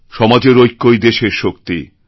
সমাজের ঐক্যই দেশের শক্তি